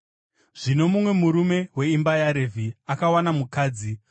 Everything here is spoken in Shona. Zvino mumwe murume weimba yaRevhi akawana mukadzi,